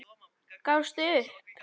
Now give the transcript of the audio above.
Gafst upp.